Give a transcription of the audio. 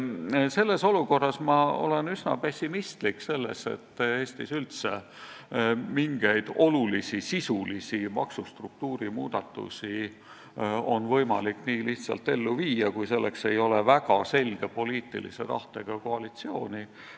Selles olukorras olen ma üsna pessimistlik selle suhtes, et Eestis oleks üldse mingeid olulisi ja sisulisi maksustruktuuri muudatusi võimalik nii lihtsalt ellu viia, kui selleks ei ole väga selge poliitilise tahtega koalitsiooni.